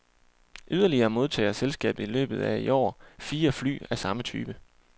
Yderligere modtager selskabet i løbet af i år fire fly af samme type.